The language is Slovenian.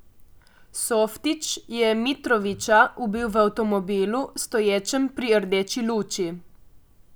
Softić je Mitrovića ubil v avtomobilu, stoječem pri rdeči luči.